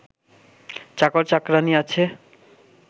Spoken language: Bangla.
চাকর চাকরানী আছে